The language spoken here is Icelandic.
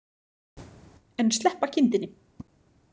En sleppa kindinni.